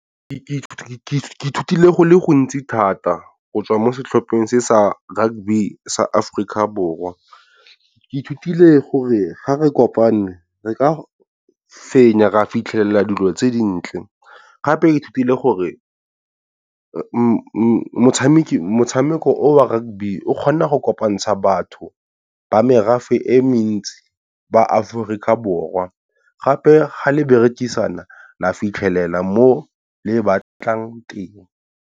Ke ithutile go le go ntsi thata go tswa mo setlhopheng se sa rugby sa Aforika Borwa. Ke ithutile gore ga re kopane re ka fenya ra fitlhelela dilo tse dintle gape ke ithutile gore motshameko o a rugby o, o kgona go kopantsha batho ba merafe e mentsi ba Aforika Borwa gape ga le berekisana la fitlhelela mo le batlang teng.